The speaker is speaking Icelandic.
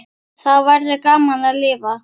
Þá verður gaman að lifa.